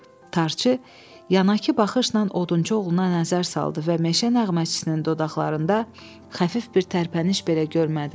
Tarçı yanaqı baxışla odunçu oğluna nəzər saldı və meşə nəğməçisinin dodaqlarında xəfif bir tərpəniş belə görmədi.